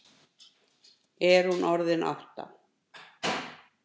Er hún orðin átta?